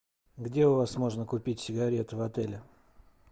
где у вас можно купить сигареты в отеле